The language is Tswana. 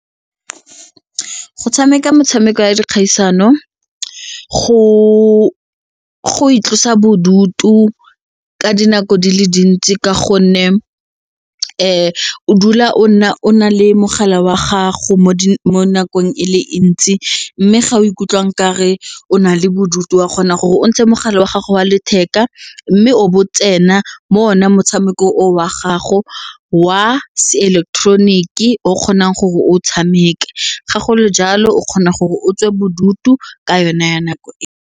Go tshameka motshameko ya dikgaisano go itlosa bodutu ka dinako di le dintsi ka gonne o dula o nna o na le mogala wa gago mo nakong e le ntsi mme ga o ikutlwang ka re o na le bodutu wa kgona gore o ntshe mogala wa gago wa letheka mme o bo tsena mo o ne motshameko o wa gago wa seileketeroniki e o kgonang gore o tshameke ga go le jalo o kgona gore o tswe bodutu ka yone ya nako e.